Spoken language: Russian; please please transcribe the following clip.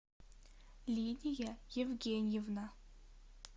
лидия евгеньевна